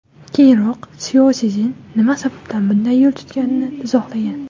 Keyinroq Syaoszin nima sababdan bunday yo‘l tutganini izohlagan.